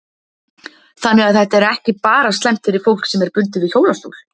Þannig að þetta er ekki bara slæmt fyrir fólk sem er bundið við hjólastól?